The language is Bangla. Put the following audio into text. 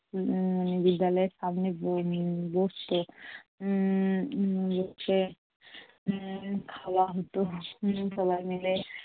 উম মানে বিদ্যালয়ের সামনে ব~ বসত উম বসে উম খাওয়া হত হম সবাই মিলে।